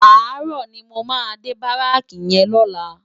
Àárò ni mó má dé báráki yèn lòlá